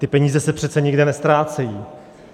Ty peníze se přece nikde neztrácejí.